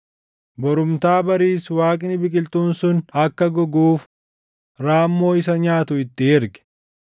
Borumtaa bariis Waaqni biqiltuun sun akka goguuf raammoo isa nyaatu itti erge.